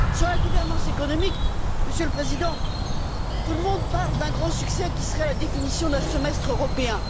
Sur la gouvernance économique, Monsieur le Président, tout le monde parle d'un grand succès qui serait la définition d'un semestre européen.